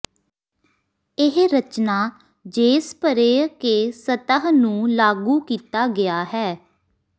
ਇਹ ਰਚਨਾ ਜੇਸਪਰੇਅ ਕੇ ਸਤਹ ਨੂੰ ਲਾਗੂ ਕੀਤਾ ਗਿਆ ਹੈ